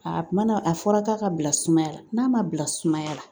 A kuma na a fɔra k'a ka bila sumaya la n'a ma bila sumaya la